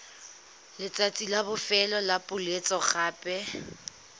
letsatsi la bofelo la poeletsogape